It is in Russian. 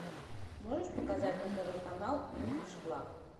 можешь показать на тв канал инглиш клаб